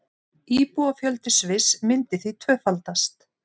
Íbúafjöldi Sviss myndi því tvöfaldast